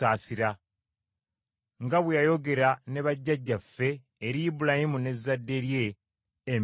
nga bwe yayogera ne bajjajjaffe, eri Ibulayimu n’ezzadde lye emirembe gyonna.”